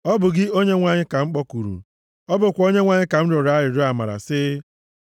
Ọ bụ gị, Onyenwe anyị, ka m kpọkuru; ọ bụkwa onyenwe anyị ka m rịọrọ arịrịọ amara sị,